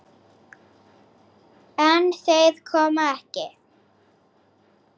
En þeir koma ekki.